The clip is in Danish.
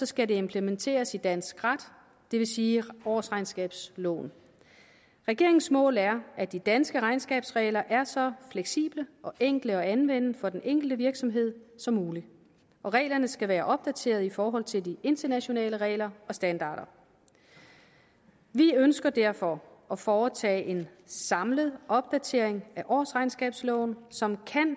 skal det implementeres i dansk ret det vil sige årsregnskabsloven regeringens mål er at de danske regnskabsregler er så fleksible og enkle at anvende for den enkelte virksomhed som muligt og reglerne skal være opdaterede i forhold til de internationale regler og standarder vi ønsker derfor at foretage en samlet opdatering af årsregnskabsloven som